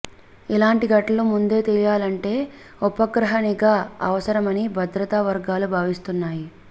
ఇలాంటి ఘటనలు ముందే తెలియాలంటే ఉపగ్రహ నిఘా అవసరమని భద్రతా వర్గాలు భావిస్తున్నాయి